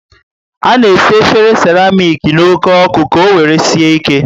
Ana esi efere seramic n' oke oku ka owere sie ike